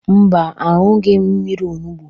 Mba, aṅụghị m mmiri onugbu.